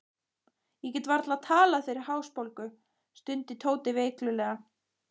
Ég get varla talað fyrir hálsbólgu, stundi Tóti veiklulega.